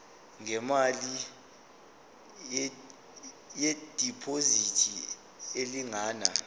ngemali yediphozithi elingana